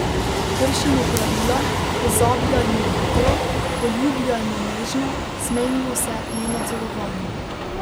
Kršimo pravila, pozabljajmo hitro, poljubljajmo nežno, smejmo se nenadzorovano.